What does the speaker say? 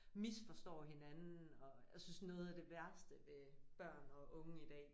Misforstår hinanden og jeg synes noget af det værste ved børn og unge i dag